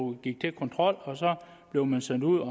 gik til kontrol og så blev man sendt ud